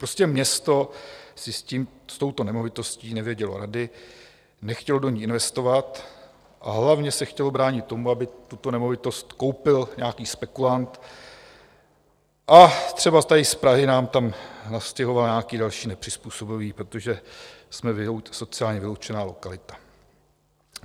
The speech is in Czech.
Prostě město si s touto nemovitostí nevědělo rady, nechtělo do ní investovat, a hlavně se chtělo bránit tomu, aby tuto nemovitost koupil nějaký spekulant a třeba tady z Prahy nám tam nastěhoval nějaké další nepřizpůsobivé, protože jsme sociálně vyloučená lokalita.